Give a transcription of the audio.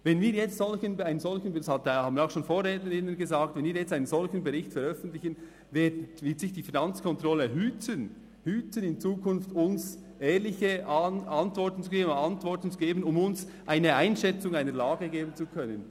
Wenn wir jetzt – das haben auch schon Vorrednerinnen und Vorredner gesagt –, einen solchen Bericht veröffentlichen, wird sich die Finanzkontrolle hüten, in Zukunft ehrliche Antworten zu geben, um uns eine Einschätzung der Lage zu ermöglichen.